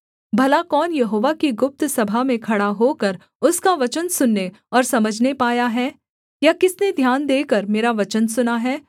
भला कौन यहोवा की गुप्त सभा में खड़ा होकर उसका वचन सुनने और समझने पाया है या किसने ध्यान देकर मेरा वचन सुना है